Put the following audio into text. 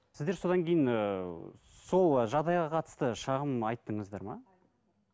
сіздер содан кейін ііі сол жағдайға қатысты шағым айттыңыздар ма